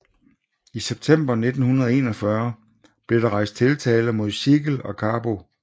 I september 1941 blev der rejst tiltale mod Siegel og Carbo